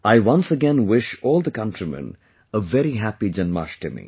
I once again wish all the countrymen a very Happy Janmashtami